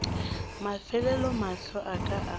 mafelelo mahlo a ka a